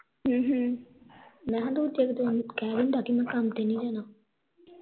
ਮੈ ਕਿਹਾ ਦੂਜੇ ਕਾ ਦਿਨ ਕਹਿ ਦਿੰਦਾ ਕੇ ਮੈ ਕੰਮ ਤੇ ਨਹੀਂ ਜਾਣਾ